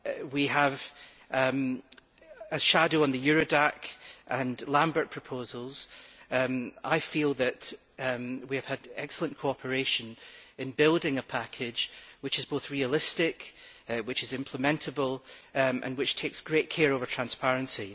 We have a shadow on the Eurodac and Lambert proposals, and I feel that we have had excellent cooperation in building a package which is both realistic and implementable, and which takes great care over transparency.